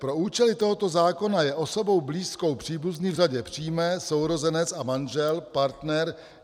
Pro účely tohoto zákona je osobou blízkou příbuzný v řadě přímé, sourozenec a manžel, partner.